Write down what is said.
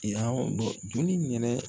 I y'a joli minɛ